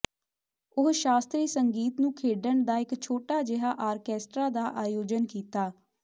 ਉਹ ਸ਼ਾਸਤਰੀ ਸੰਗੀਤ ਨੂੰ ਖੇਡਣ ਦਾ ਇੱਕ ਛੋਟਾ ਜਿਹਾ ਆਰਕੈਸਟਰਾ ਦਾ ਆਯੋਜਨ ਕੀਤਾ